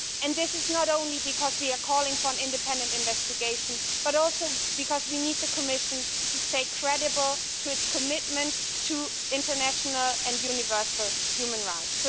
This is not only because we are calling for an independent investigation, but also because we need the Commission to stay credible to its commitment to international and universal human rights.